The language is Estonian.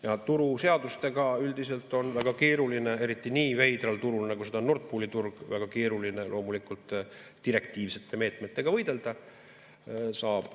Ja turuseadustega üldiselt on väga keeruline, eriti nii veidral turul, nagu seda on Nord Pooli turg, direktiivsete meetmetega võidelda.